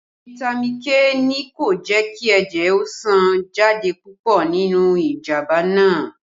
Fitami K ni kò jẹ́ kí ẹ̀jẹ̀ ó sàn jáde púpọ̀ nínú ìjàmbá náà